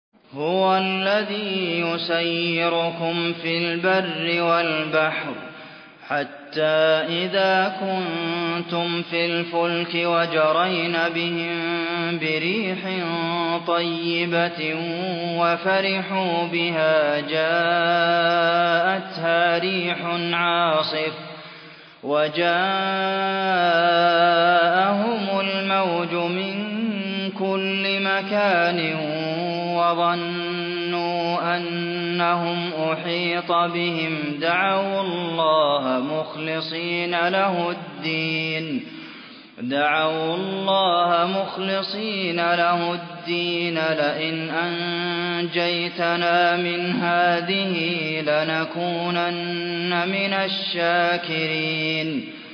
هُوَ الَّذِي يُسَيِّرُكُمْ فِي الْبَرِّ وَالْبَحْرِ ۖ حَتَّىٰ إِذَا كُنتُمْ فِي الْفُلْكِ وَجَرَيْنَ بِهِم بِرِيحٍ طَيِّبَةٍ وَفَرِحُوا بِهَا جَاءَتْهَا رِيحٌ عَاصِفٌ وَجَاءَهُمُ الْمَوْجُ مِن كُلِّ مَكَانٍ وَظَنُّوا أَنَّهُمْ أُحِيطَ بِهِمْ ۙ دَعَوُا اللَّهَ مُخْلِصِينَ لَهُ الدِّينَ لَئِنْ أَنجَيْتَنَا مِنْ هَٰذِهِ لَنَكُونَنَّ مِنَ الشَّاكِرِينَ